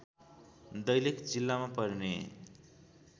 दैलेख जिल्लामा पर्ने